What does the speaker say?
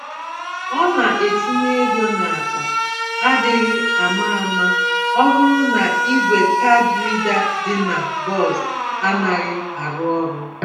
Ọ na-etinye égo n'akpa adịghị àmà-àmà ọbụrụ na ìgwè card reader dị na bọs anaghị arụ ọrụ.